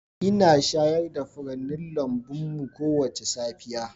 Ina shayar da furannin lambun mu kowace safiya.